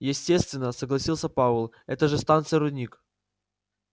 естественно согласился пауэлл это же станция рудник